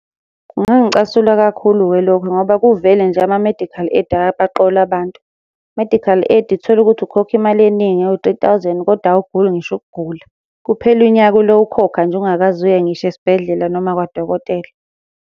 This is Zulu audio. Kungangicasula kakhulu-ke lokho ngoba kuvele nje ama-medical aid ayabaqola abantu. Medical aid uthole ukuthi ukhokha imali eningi ewu-three thousand, koda awuguli ngisho ukugula. Kuphele unyaka ulo ukhokha nje ungakaze uye ngisho esibhedlela noma kwadokotela.